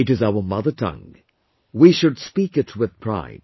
It is our mother tongue; we should speak it with pride